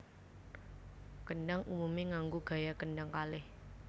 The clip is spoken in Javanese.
Kendhang umumé nganggo gaya kendhang kalih